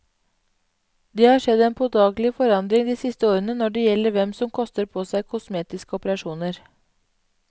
Det har skjedd en påtagelig forandring de siste årene når det gjelder hvem som koster på seg kosmetiske operasjoner.